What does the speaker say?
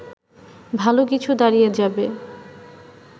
ভালো কিছু দাঁড়িয়ে যাবে